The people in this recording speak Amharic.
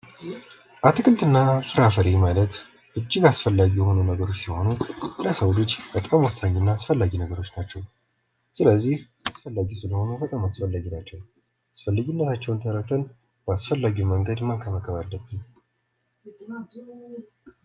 አትክልትና ፍራፍሬ ማለት እጅግ አስፈላጊ የሆኑ ነገሮች ሲሆኑ ለሰው ልጅ በጣም ወሳኝና አስፈላጊ ነገሮች ናቸው። ስለዚህ አስፈላጊ ስለሆነ በጣም አስፈላጊ ናቸው። አስፈላጊነታቸውን ተረድተን ባስፈላጊ መንገድ መንከባከብ አለብን።